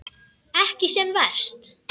Ekki sem verst.